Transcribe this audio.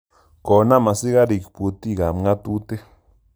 Konam asikarik putik ap ng'atutik